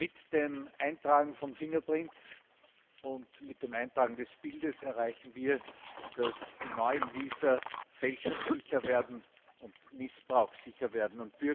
Mit dem Eintragen von Fingerabdrücken und mit dem Eintragen des Bildes erreichen wir, dass die neuen Visa fälschungs und missbrauchssicher werden.